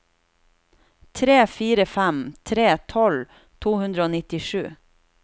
tre fire fem tre tolv to hundre og nittisju